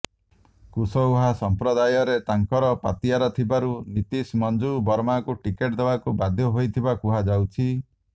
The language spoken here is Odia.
କୁଶଓ୍ବାହା ସଂପ୍ରଦାୟରେ ତାଙ୍କର ପତିଆରା ଥିବାରୁ ନୀତିଶ ମଞ୍ଜୁ ବର୍ମାଙ୍କୁ ଟିକେଟ୍ ଦେବାକୁ ବାଧ୍ୟ ହୋଇଥିବା କୁହାଯାଉଛି